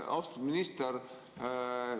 Austatud minister!